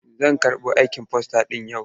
Zan karɓo aikin fasta ɗin yau.